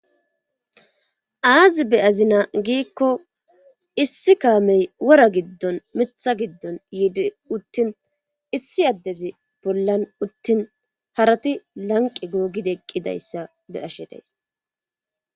aazi be azina giikko issi kaamey wora giddon mitha giddon yiidi uttin issi addezi bollan uttin harati lanqe googideqqidayssa be ashe days